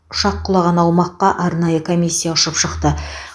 ұшақ құлаған аумаққа арнайы комиссия ұшып шықты